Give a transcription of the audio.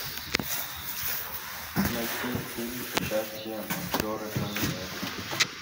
найти фильм с участием актера джонни депп